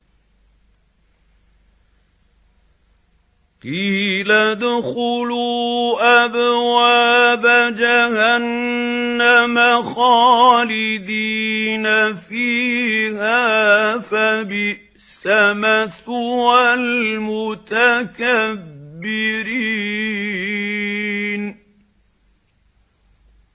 قِيلَ ادْخُلُوا أَبْوَابَ جَهَنَّمَ خَالِدِينَ فِيهَا ۖ فَبِئْسَ مَثْوَى الْمُتَكَبِّرِينَ